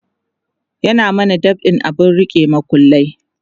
ya mana dab'in abun rike makullai